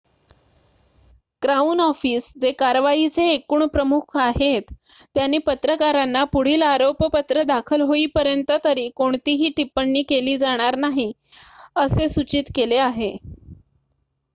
crown Office जे कारवाईचे एकूण प्रमुख आहेत त्यांनी पत्रकारांना पुढील आरोपपत्र दाखल होईपर्यंत तरी कोणतीही टिप्पणी केली जाणार नाही असे सूचित केले आहे